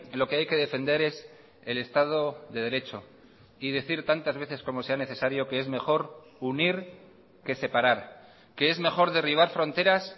lo que hay que defender es el estado de derecho y decir tantas veces como sea necesario que es mejor unir que separar que es mejor derribar fronteras